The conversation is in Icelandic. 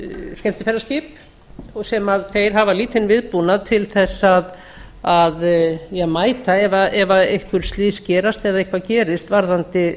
skemmtiferðaskip sem þeir hafa lítinn viðbúnað til að mæta ef einhver slys gerast eða eitthvað gerist varðandi